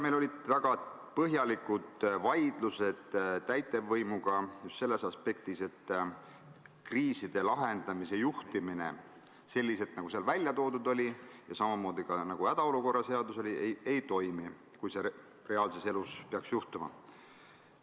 Meil olid väga põhjalikud vaidlused täitevvõimuga just selles aspektis, et kriiside lahendamise juhtimine selliselt, nagu seal ja ka hädaolukorra seaduses välja oli toodud, reaalsuses ei toimi.